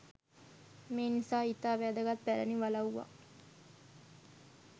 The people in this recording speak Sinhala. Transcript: මේ නිසා ඉතා වැදගත් පැරණි වලව්වක්